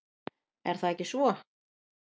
Er það ekki svo?